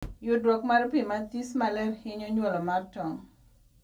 Yudruok mar pii mathis maler hinyo nyuolo mar tong